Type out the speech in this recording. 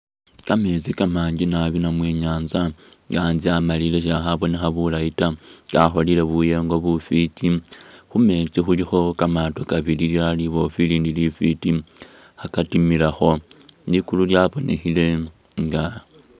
Kameetsi kamanji nabbi namwe inyanza ,anzye amalile sha'khabonekha bulayi ta ,kakholele buyego bufwiti, khumeetsi khulikho kamaato kabili lilala liboofu ilindi lifwiti khakatimilakho likulu lyabonekhele nga